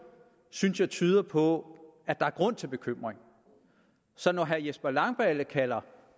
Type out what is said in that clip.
synes jeg tyder på at der er grund til bekymring når herre jesper langballe kalder